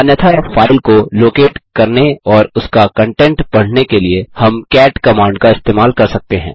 अन्यथा फाइल को लोकेट करने और उसका कंटेंट पढ़ने के लिए हम कैट कमांड का इस्तेमाल कर सकते हैं